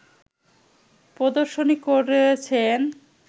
প্রদর্শনী করেছেন